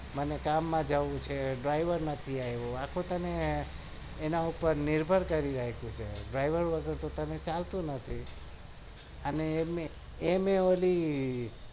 મને કામમાં જવું છે driver નથી આવ્યો આખો તને એન પણ નિભર કર્યો છે driver વગર તો ચાલતું નથી